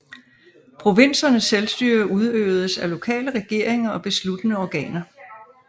Provinsernes selvstyre udøvedes af lokale regeringer og besluttende organer